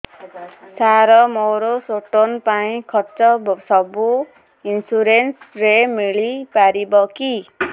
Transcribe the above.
ସାର ମୋର ସ୍ଟୋନ ପାଇଁ ଖର୍ଚ୍ଚ ସବୁ ଇନ୍ସୁରେନ୍ସ ରେ ମିଳି ପାରିବ କି